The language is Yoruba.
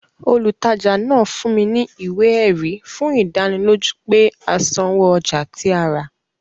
Olùtajà náà fún wa ní ìwé ẹ̀rí fún ìdánilójú pé a sanwó ọjà tí a rà